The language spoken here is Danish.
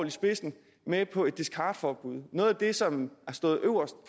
i spidsen med på et discardforbud hvilket noget af det som har stået øverst